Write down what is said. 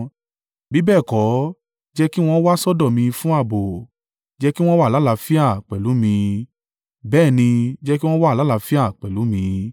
Bí bẹ́ẹ̀ kọ́, jẹ́ kí wọn wá sọ́dọ̀ mi fún ààbò; jẹ́ kí wọ́n wá àlàáfíà pẹ̀lú mi, bẹ́ẹ̀ ni, jẹ́ kí wọn wá àlàáfíà pẹ̀lú mi.”